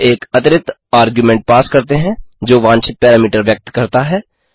हम एक अतिरिक्त आर्ग्युमेंट पास करते हैं जो वांछित पैरामीटर व्यक्त करता है